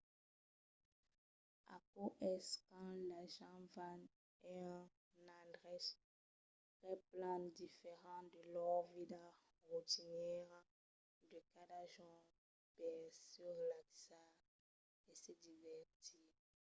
aquò es quand las gents van a un endrech qu’es plan diferent de lor vida rotinièra de cada jorn per se relaxar e se divertir